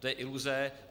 To je iluze.